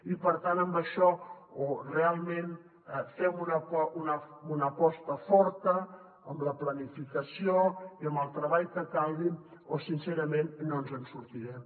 i per tant en això o realment fem una aposta forta amb la planificació i amb el treball que calgui o sincerament no ens en sortirem